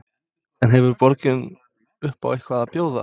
En hefur borgin upp á eitthvað að bjóða?